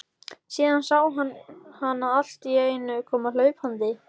Síðan sá hann hana alltíeinu koma hlaupandi.